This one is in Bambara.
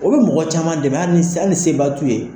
O bi mɔgɔ caman dɛmɛ ali ali ni seba t'u ye